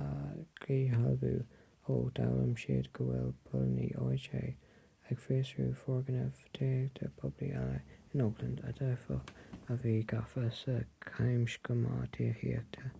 a dhíshealbhú ó d'fhoghlaim siad go bhfuil póilíní oha ag fiosrú foirgnimh tithíochta poiblí eile in oakland a d'fhéadfadh a bheith gafa sa chamscéim tithíochta